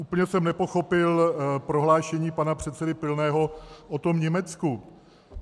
Úplně jsem nepochopil prohlášení pana předsedy Pilného o tom Německu.